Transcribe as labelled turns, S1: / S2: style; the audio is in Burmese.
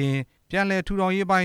S1: က် ပြန်လည်ထူထောင်ရေးပိုင်